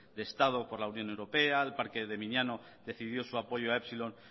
de estado por la unión europea el parque de miñano decidió su apoyo a epsilon